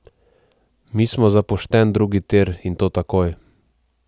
Mi smo za pošten drugi tir in to takoj.